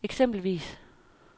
eksempelvis